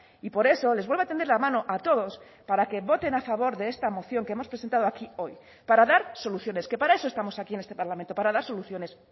y por eso les vuelvo a tender la mano a todos para que voten a favor de esta moción que hemos presentado aquí hoy para dar soluciones que para eso estamos aquí en este parlamento para dar soluciones